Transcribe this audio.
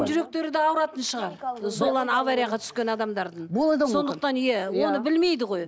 жүректері де ауыратын шығар сол аварияға түскен адамдардың сондықтан иә оны білмейді ғой